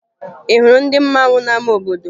Ị hụrụ ndị mmanwụ n'ama obodo?